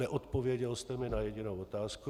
Neodpověděl jste mi na jedinou otázku.